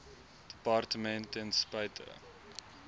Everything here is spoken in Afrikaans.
departement ten spyte